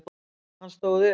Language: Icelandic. Hann stóð upp.